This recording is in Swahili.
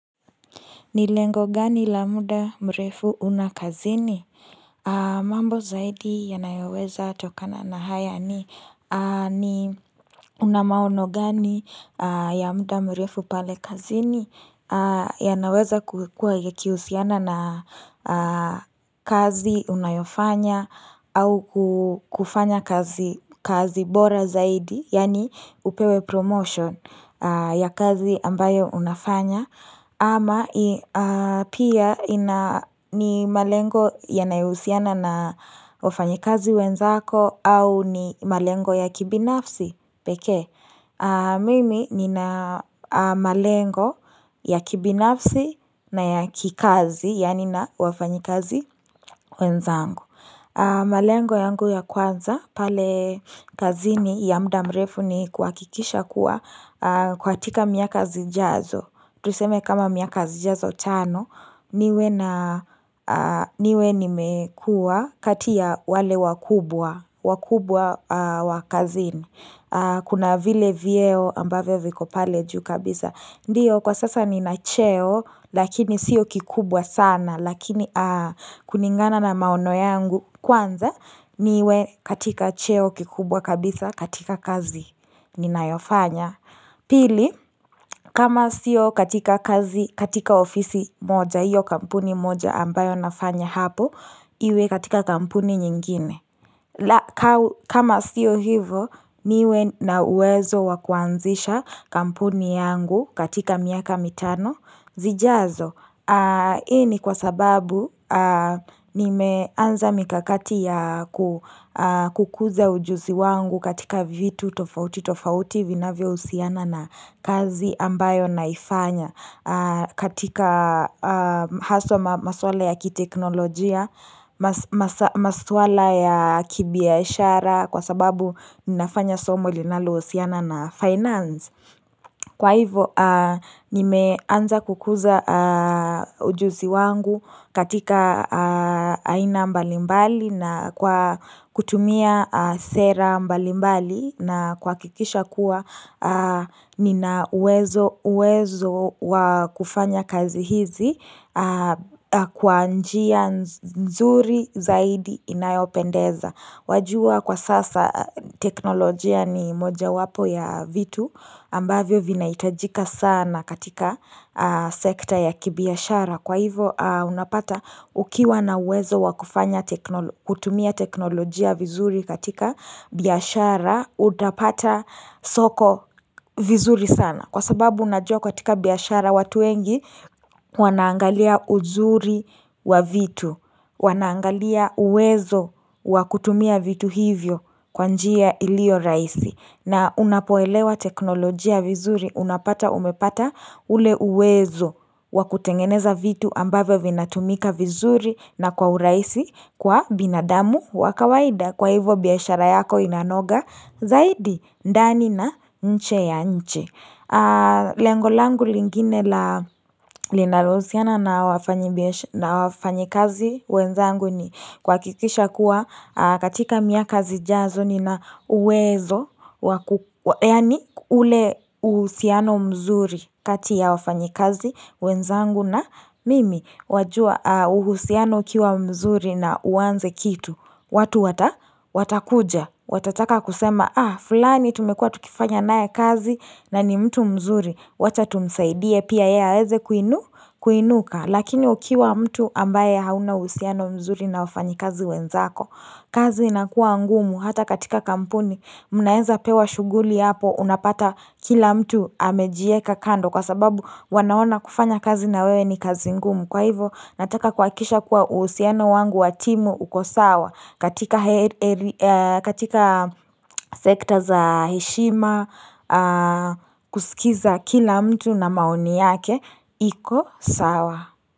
Ni lengo gani la muda mrefu una kazini? Mambo zaidi yanayoweza tokana na haya ni ni una maono gani ya muda mrefu pale kazini yanaweza kukuwa yakihusiana na kazi unayofanya au kufanya kazi kazi bora zaidi yaani upewe promotion ya kazi ambayo unafanya ama pia ni malengo yanayohusiana na wafanyikazi wenzako au ni malengo ya kibinafsi pekee Mimi nina malengo ya kibinafsi na ya kikazi yaani na wafanyikazi wenzangu malengo yangu ya kwanza pale kazini ya muda mrefu ni kuhakikisha kuwa katika miaka zijazo tuseme kama miaka zijazo tano niwe na niwe nimekuwa kati ya wale wakubwa, wakubwa wa kazini. Kuna vile vyeo ambavyo viko pale juu kabisa. Ndiyo, kwa sasa nina cheo, lakini siyo kikubwa sana. Lakini kulingana na maono yangu kwanza, niwe katika cheo kikubwa kabisa katika kazi. Ninayofanya. Pili, kama siyo katika kazi, katika ofisi moja, hiyo kampuni moja ambayo nafanya hapo, iwe katika kampuni nyingine. Kama siyo hivyo, niwe na uwezo wa kuanzisha kampuni yangu katika miaka mitano. Zijazo. Hii ni kwa sababu nimeanza mikakati ya kukuza ujuzi wangu katika vitu tofauti tofauti vinavyohusiana na kazi ambayo naifanya katika haswa maswala ya kiteknolojia, maswala ya kibiashara kwa sababu ninafanya somo linalohusiana na finance. Kwa hivyo nimeanza kukuza ujuzi wangu katika aina mbalimbali na kwa kutumia sera mbalimbali na kuhakikisha kuwa nina uwezo uwezo wa kufanya kazi hizi kwa njia nzuri zaidi inayopendeza. Wajua kwa sasa teknolojia ni mojawapo ya vitu ambavyo vinahitajika sana katika sekta ya kibiashara kwa hivyo unapata ukiwa na uwezo wa kufanya kutumia teknolojia vizuri katika biashara utapata soko vizuri sana. Kwa sababu unajua katika biashara watu wengi wanaangalia uzuri wa vitu, wanaangalia uwezo wa kutumia vitu hivyo kwa njia iliyo rahisi. Na unapoelewa teknolojia vizuri unapata umepata ule uwezo wa kutengeneza vitu ambavyo vinatumika vizuri na kwa urahisi kwa binadamu wa kawaida kwa hivyo biashara yako inanoga zaidi ndani na nje ya nchi. Lengo langu lingine linalohusiana na wafanyikazi wenzangu ni kuhakikisha kuwa katika miaka zijazo nina uwezo wa Yaani ule uhusiano mzuri kati ya wafanyikazi wenzangu na mimi. Wajua uhusiano ukiwa mzuri na uanze kitu watu wata watakuja, watataka kusema, ah, fulani tumekuwa tukifanya naye kazi na ni mtu mzuri, wacha tumsaidie pia yeye aweze kuinu kuinuka, lakini ukiwa mtu ambaye hauna uhusiano mzuri na wafanyikazi wenzako. Kazi inakuwa ngumu hata katika kampuni mnaweza pewa shughuli hapo unapata kila mtu amejiweka kando kwa sababu wanaona kufanya kazi na wewe ni kazi ngumu kwa hivyo nataka kuhakikisha kuwa uhusiano wangu wa timu uko sawa katika sekta za heshima kusikiza kila mtu na maoni yake iko sawa.